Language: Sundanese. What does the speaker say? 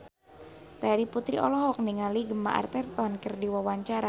Terry Putri olohok ningali Gemma Arterton keur diwawancara